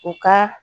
U ka